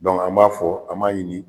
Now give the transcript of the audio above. an b'a fɔ an b'a ɲini.